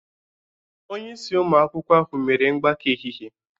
Onye isi ụmụ akwụkwọ ahụ mere mgbakọ ehihie